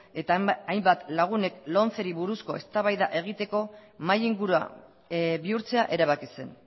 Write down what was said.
eta hainbat lagunek lomceri buruzko eztabaida egiteko mahai ingurua bihurtzea erabaki zen